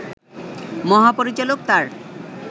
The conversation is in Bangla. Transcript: মহাপরিচালক তাঁর